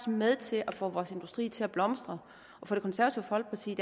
med til at få vores industri til at blomstre og for det konservative folkeparti